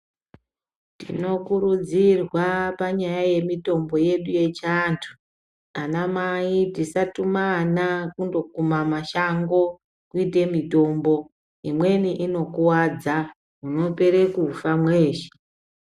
Tinokurudzirwa panyaya yemitombo yedu yechianthu ana mai musatuma ana kundokuma mashango kuite mitombo imweni inokuwadza munopere kufa mweeshe.